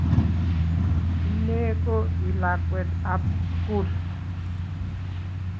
Inye ko I lakwetab sugul